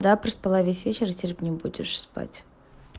да проспала весь вечер и теперь не будешь спать